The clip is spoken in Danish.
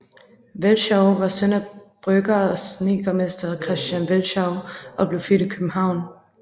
Velschow var søn af brygger og snedkermester Christian Velschow og blev født i København